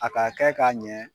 A ka kɛ ka ɲɛ